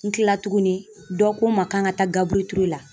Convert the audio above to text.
N kila tuguni dɔ ko n ma k'an ka taa Gabrue Ture la.